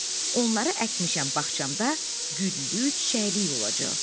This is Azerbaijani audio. Onları əkmişəm, bağçamda güllü, çiçəkli olacaq.